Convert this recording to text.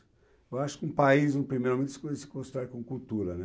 Eu acho que um país, num primeiro, se co se constrói com cultura, né.